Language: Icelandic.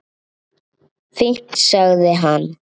Fínt- sagði hann.